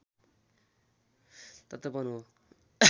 तातोपन हो